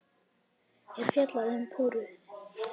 er fjallað um púður.